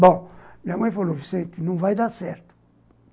Bom, minha mãe falou, Vicente, não vai dar certo.